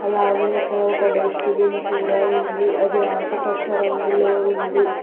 అలాగే ఇక్కడ ఒక డస్ట్ బిన్ కూడా ఉంది అది ఆకుపచ్చ రంగులో ఉంది.